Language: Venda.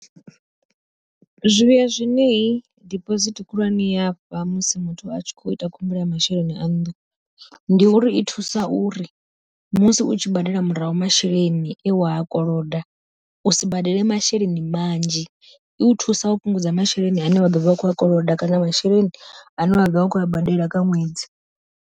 Zwivhuya zwine diphosithi khulwane ya fha musi muthu a tshi kho ita khumbelo ya masheleni a nnḓu. Ndi uri i thusa uri musi u tshi badela murahu masheleni e wa a koloda u si badele masheleni manzhi, i u thusa u fhungudza masheleni ane wa ḓovha u khou a koloda kana masheleni ane wa ḓovha u khou a badela kha ṅwedzi.